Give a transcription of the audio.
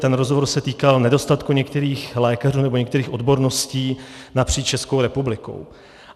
Ten rozhovor se týkal nedostatku některých lékařů nebo některých odborností napříč Českou republikou.